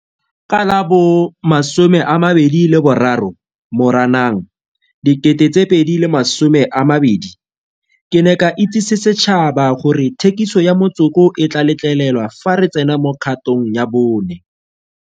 Ka la bo 23 Moranang 2020, ke ne ka itsese setšhaba gore thekiso ya motsoko e tla letlelelwa fa re tsena mo kgatog ya bone.